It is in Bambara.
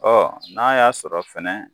n'a y'a sɔrɔ fɛnɛ